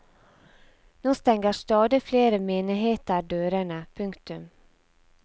Nå stenger stadig flere menigheter dørene. punktum